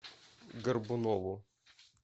горбунову